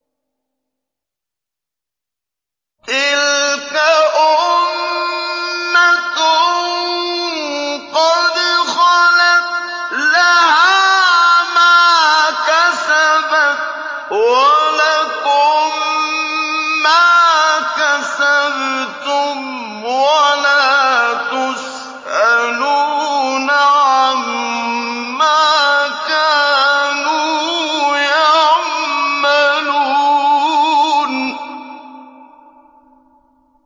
تِلْكَ أُمَّةٌ قَدْ خَلَتْ ۖ لَهَا مَا كَسَبَتْ وَلَكُم مَّا كَسَبْتُمْ ۖ وَلَا تُسْأَلُونَ عَمَّا كَانُوا يَعْمَلُونَ